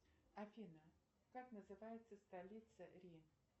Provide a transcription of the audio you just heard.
афина как называется столица рим